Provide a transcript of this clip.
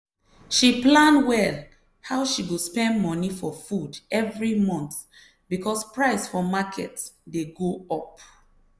she plan well how she go spend money for food every month because price for market dey go up.